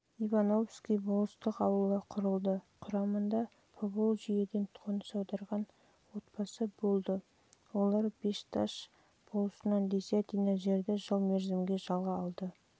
жылы ивановский болыстық ауылы құрылды құрамында поволжьеден қоныс аударған отбасы болып олар бешташ болысынан десятина жерді жыл мерзімге